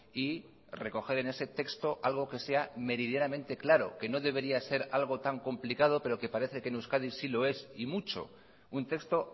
y recoger en ese texto algo que sea meridianamente claro que no debería ser algo tan complicado pero que parece que en euskadi sí lo es y mucho un texto